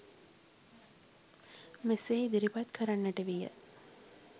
මෙසේ ඉදිරිපත් කරන්නට විය